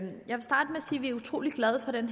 sige at vi er utrolig glade for den